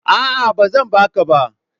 A'a, ba zan ba ka ba.